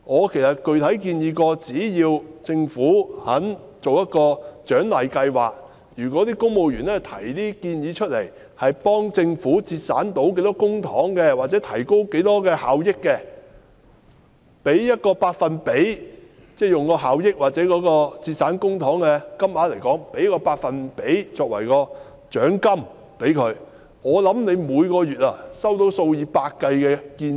其實我曾具體地建議，只要政府願意推出一項獎勵計劃，即如果公務員提出的建議可以幫助政府節省多少公帑，或提高多少效益的話，可以效益或節省公帑金額的某個百分比作為獎金，我想政府每個月便可以收到數以百計的建議。